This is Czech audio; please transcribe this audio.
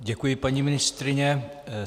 Děkuji paní ministryni.